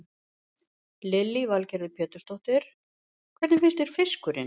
Lillý Valgerður Pétursdóttir: Hvernig finnst þér fiskurinn?